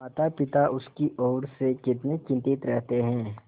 मातापिता उसकी ओर से कितने चिंतित रहते हैं